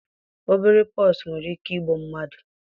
obere pox nwere ike igbu mmadụ.